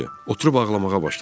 Oturub ağlamağa başladım.